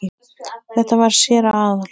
Þetta var séra Aðal